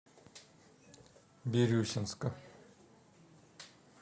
бирюсинска